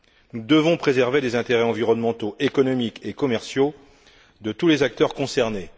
Nous devons préserver les intérêts environnementaux, économiques et commerciaux de tous les acteurs concernés.